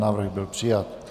Návrh byl přijat.